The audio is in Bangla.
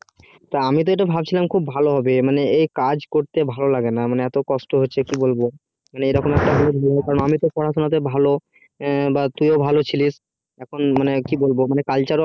তা আমি তো ভাবছিলাম তো এটা খুব ভালো হবে মানে এই কাজ করতে ভালো লাগেনা আর এত কষ্ট হচ্ছে কি বলবো এরকম মানে পড়াশুনাতে তো আমি ভালো তুইও ভালো ছিলিস এখন মানে কি বলবো culture অনেক